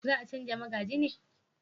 za a canja magaji ne?